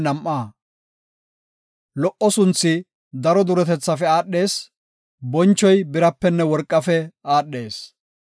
Lo77o sunthi daro duretethafe aadhees; bonchoy birapenne worqafe aadhees.